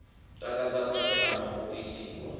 takadza khasi ama u itiwa